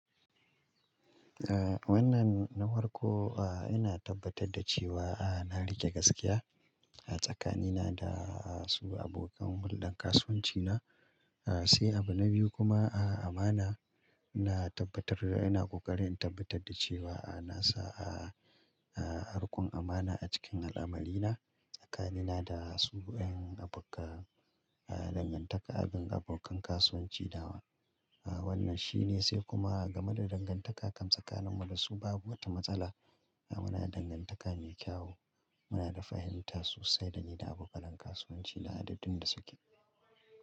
Eh wannan na farko, ah ina tabbatar da cewa eh na riƙe gaskiya a tsakanina da su abokan huldan kasuwanci na. Eh sai abu na biyu kuma ah amana ina tabbatar da ina ƙoƙarin in tabbatar da cewa ah nasa ah riƙon amana a cikin al'amari na tsakanina da su 'yan abukka ah dangantaka abin abokan kasuwanci dawa. A wannan shine sai kuma game da dangantaka kan tsakanin mu da su babu wata matsala. Muna da dangantaka mai kyawu, muna da fahimta so sai da ni da abokann kasuwanci na adadin da suke.